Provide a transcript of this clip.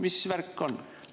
Mis värk on?